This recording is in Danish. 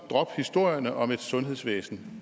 drop historierne om et sygehusvæsen